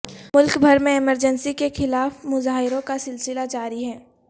ملک بھر میں ایمرجنسی کے خلاف مظاہروں کا سلسلہ جاری ہے